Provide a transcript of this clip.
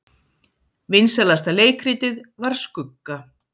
Vinsælasta leikritið var Skugga